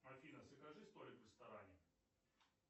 афина закажи столик в ресторане